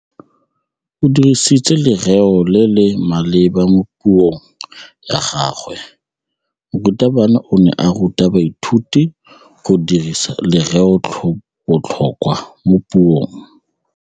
O dirisitse lerêo le le maleba mo puông ya gagwe. Morutabana o ne a ruta baithuti go dirisa lêrêôbotlhôkwa mo puong.